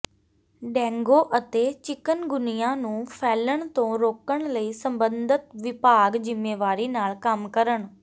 dengue ਅਤੇ chikungunya ਨੂੰ ਫੈਲਣ ਤੋਂ ਰੋਕਣ ਲਈ ਸਬੰਧਤ ਵਿਭਾਗ ਜਿੰਮੇਵਾਰੀ ਨਾਲ ਕੰਮ ਕਰਨ